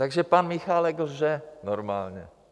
Takže pan Michálek lže normálně.